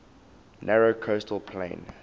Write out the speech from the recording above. narrow coastal plain